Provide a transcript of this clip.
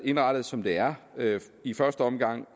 indrettet som det er i første omgang